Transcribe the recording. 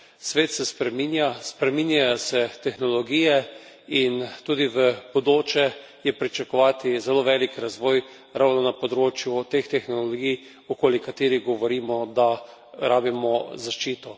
Svet se spreminja, spreminjajo se tehnologije in tudi v bodoče je pričakovati zelo velik razvoj ravno na področju teh tehnologij, okoli katerih govorimo, da rabimo zaščito.